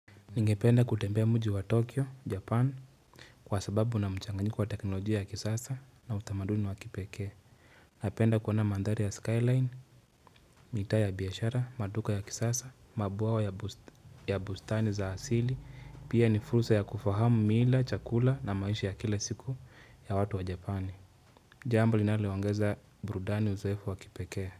Ningependa kutembea mji wa Tokyo, Japan kwa sababu una mchanganyiko wa teknolojia ya kisasa na utamaduni wa kipekee. Napenda kuona mandhari ya Skyline, mita ya biashara, maduka ya kisasa, mabwawa ya bustani za asili, pia ni fursa ya kufahamu mila, chakula na maisha ya kila siku ya watu wa Japani. Jambo linalo ongeza burudani uzoefu wa kipekee.